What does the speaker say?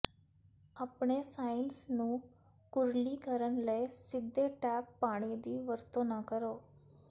ਆਪਣੇ ਸਾਇਨਸ ਨੂੰ ਕੁਰਲੀ ਕਰਨ ਲਈ ਸਿੱਧੇ ਟੈਪ ਪਾਣੀ ਦੀ ਵਰਤੋਂ ਨਾ ਕਰੋ